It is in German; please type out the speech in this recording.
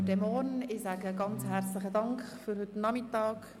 Ich bedanke mich sehr herzlich für die Sitzungen von heute Nachmittag.